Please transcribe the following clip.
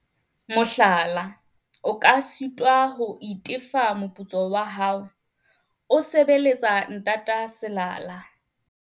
Mohlala, o tla sitwa ho itefa moputso wa hao o sebeletsa ntata selala.